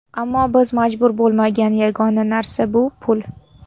Ammo biz majbur bo‘lmagan yagona narsa bu pul.